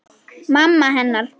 Mamma hennar.